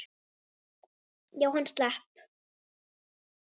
Já, hann slapp.